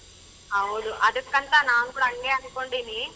ಹೌದು ಅದುಕ್ಕಂತಾ ನಾವು ಕೂಡ ಅಂಗೆ ಅನಕೊಂಡಿನಿ.